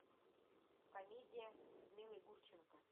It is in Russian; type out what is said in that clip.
комедия с людмилой гурченко